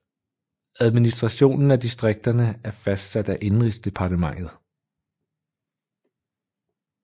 Administrationen af distrikterne er fastsat af Indenrigsdepartementet